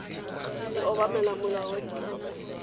e obamela molao wa ditlamo